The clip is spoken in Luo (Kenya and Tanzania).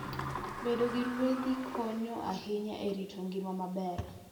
Bedo gi ruedhi konyo ahinya e rito ngima maber.